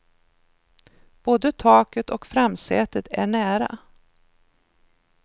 Både taket och framsätet är nära.